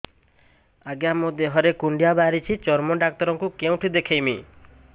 ଆଜ୍ଞା ମୋ ଦେହ ରେ କୁଣ୍ଡିଆ ବାହାରିଛି ଚର୍ମ ଡାକ୍ତର ଙ୍କୁ କେଉଁଠି ଦେଖେଇମି